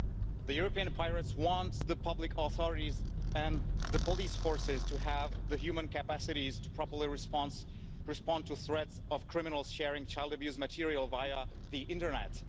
The European Pirates want the public authorities and police forces to have the human capacity to properly respond to the threat of criminals sharing child abuse material over the internet.